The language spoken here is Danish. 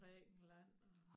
Grækenland og